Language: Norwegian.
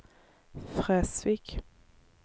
Fresvik